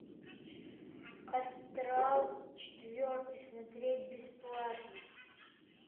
астрал четвертый смотреть бесплатно